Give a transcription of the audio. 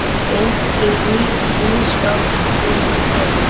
Geymt í ísskáp yfir nótt.